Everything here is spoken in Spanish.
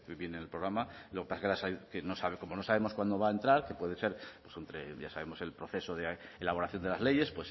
viene en el programa pero como no sabemos cuándo va a entrar que puede ser ya sabemos el proceso de elaboración de las leyes